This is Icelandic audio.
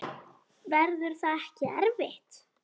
Verður það ekki erfitt?